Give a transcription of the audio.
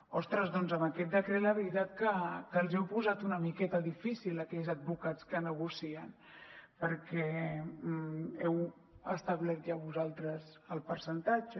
ostres doncs amb aquest decret la veritat que els hi heu posat una miqueta difícil a aquells advocats que negocien perquè heu establert ja vosaltres el percentatge